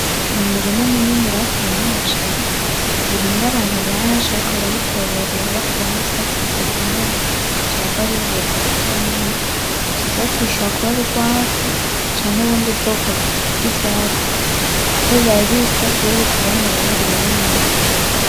Ni umurima munini bateyemwo umuceri, urimwo abantu benshi bariko barawutora bakuramwo ivyatsi bidakenewe vyohava bibabuza gukora neza, ivyo vyatsi bishobora kuba ari ugwafu canke ubundi bwoko bw'ivyatsi kuko biba bisa ,iyo bikuranye rero burabinyoha.